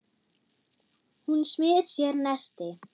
Hún smyr sér nesti.